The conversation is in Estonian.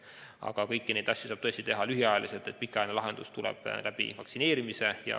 Aga kõiki neid asju saab teha ainult lühiajaliselt, pikaajaline lahendus tuleb vaktsineerimise kaudu.